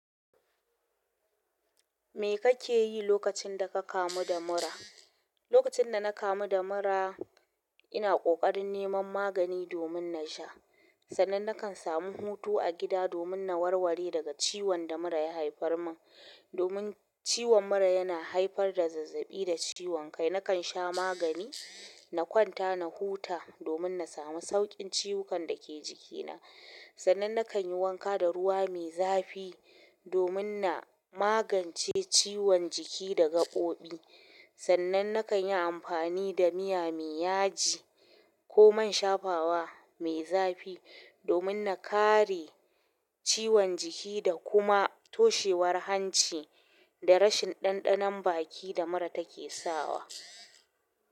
Me kake yi lokacin da ka kamu da mura? Lokacin da na kamu da mura, ina ƙoƙarin neman magani domin na sha. Sannan na kan samu hutu a gida domin na warware daga ciwon da mura ya haifar min. Domin ciwon mura yana haifar da zazzaɓi da ciwon kai, na kan sha magani, na kwanta na huta domin na samu sauƙin ciwukan da ke jikina. Sannan na kan yi wanka da ruwa mai zafi domin na magance ciwon jiki da gaɓoɓi. Sannan na kan yi amfani da miya mai yaji ko man shafawa mai zafi domin na kare ciwon jiki da kuma toshewar hanci da rashin ɗanɗanon baki da mura take sawa.